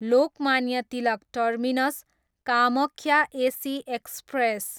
Lokmanya Tilak terminus, Kamakhya AC express